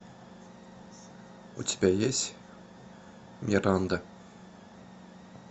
у тебя есть миранда